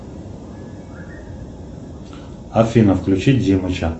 афина включи димыча